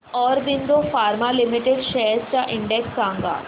Aurobindo pharma limited shares चा index सांगा